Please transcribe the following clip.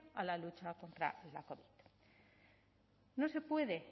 a la lucha contra la covid no se puede